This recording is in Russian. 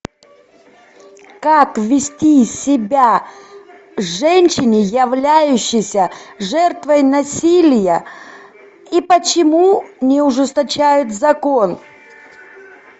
как вести себя женщине являющейся жертвой насилия и почему не ужесточают закон